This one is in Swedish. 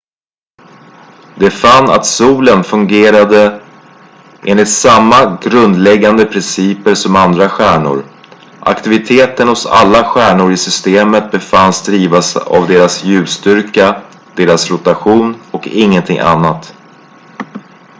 de fann att solen fungerade enligt samma grundläggande principer som andra stjärnor aktiviteten hos alla stjärnor i systemet befanns drivas av deras ljusstyrka deras rotation och ingenting annat